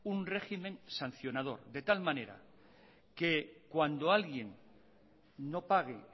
un régimen sancionador de tal manera que cuando alguien no pague